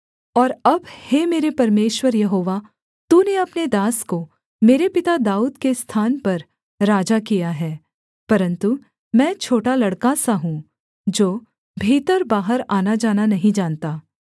और अब हे मेरे परमेश्वर यहोवा तूने अपने दास को मेरे पिता दाऊद के स्थान पर राजा किया है परन्तु मैं छोटा लड़का सा हूँ जो भीतर बाहर आनाजाना नहीं जानता